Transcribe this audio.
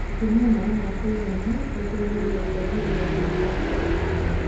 kũnyua maĩ ma kuigana gũteithagia kũagĩrĩrĩa ũgima wa mbaru